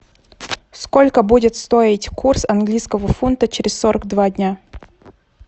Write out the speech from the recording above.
сколько будет стоить курс английского фунта через сорок два дня